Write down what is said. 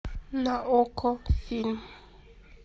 на окко фильм